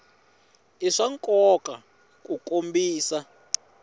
i swa nkoka ku kombisa